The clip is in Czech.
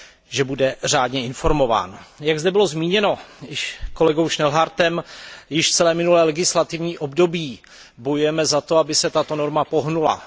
že bude řádně informován Jak zde bylo zmíněno již kolegou Horstem Schnellhardtem, již od minulého legislativního období bojujeme za to, aby se tato norma pohnula.